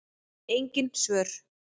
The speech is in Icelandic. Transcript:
Engin svör.